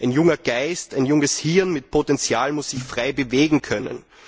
Ein junger Geist, ein junges Hirn mit Potential muss sich frei bewegen können.